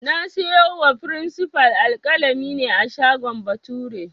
Na siyo wa frinsifal alƙalami ne a shagon Bature